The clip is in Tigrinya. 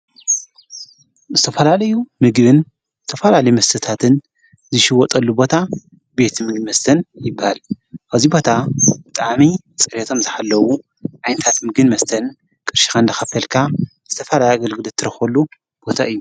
ምስ ተፈላልዩ ምግብን ዝተፈላል መተታትን ዝሽወጠሉ ቦታ ቤት ምግን መስተን ይበሃል ኣዚይ ቦታ ጣኣመይ ጸርቶም ዝሐለዉ ዓይንታት ምግን መስተን ቅርሽኻ እንዶ ኸፈልካ ዝተፋላያ ኣገልግልት ትረኾሉ ቦታ እዩ።